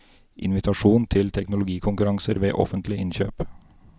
Invitasjon til teknologikonkurranser ved offentlig innkjøp.